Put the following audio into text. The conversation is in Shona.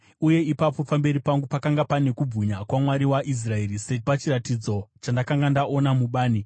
Uye ipapo pamberi pangu pakanga pane kubwinya kwaMwari waIsraeri, sapachiratidzo chandakanga ndaona mubani.